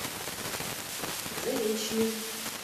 заречный